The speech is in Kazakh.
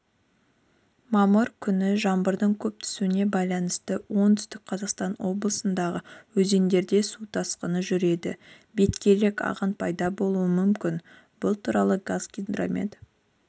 мамыр күні жаңбырдың көп түсуіне байланысты оңтүстік қазақстан облысындағы өзендерде су тасқыны жүреді беткейлік ағын пайда болуы мүмкін бұл туралы қазгидромет